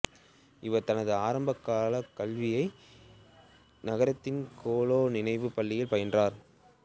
இவர் தனது ஆரம்பக் கல்வியை நகரத்தின் கோகலே நினைவுப் பள்ளியில் பயின்றார்